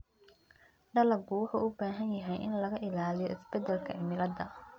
Dalaggu wuxuu u baahan yahay in laga ilaaliyo isbeddelka cimilada.